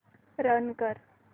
run कर